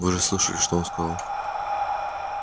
вы же слышали что он сказал